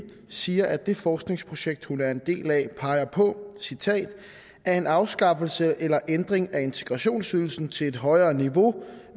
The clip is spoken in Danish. siger at det forskningsprojekt hun er en del af peger på at en afskaffelse eller ændring af integrationsydelsen til et højere niveau